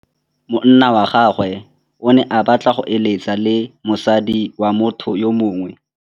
Monna wa gagwe o ne a batla go êlêtsa le mosadi wa motho yo mongwe.